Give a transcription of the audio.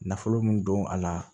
Nafolo min don a la